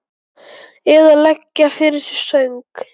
Eða leggja fyrir sig söng?